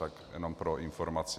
Tak jenom pro informaci.